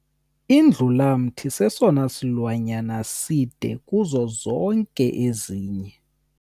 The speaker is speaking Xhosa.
Indlulamthi sesona silwanyana side kuzo zonke ezinye.